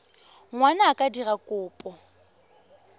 ngwana a ka dira kopo